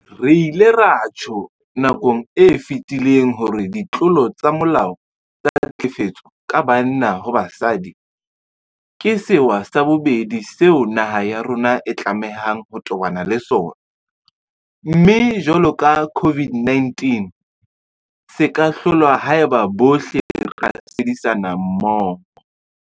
Re ile ra tjho nakong e fetileng hore ditlolo tsa molao tsa tlhekefetso ka banna ho basadi ke sewa sa bobedi seo naha ya rona e tlamehang ho tobana le sona, mme jwalo ka COVID-19 se ka hlolwa haeba bohle re ka sebedisana mmoho.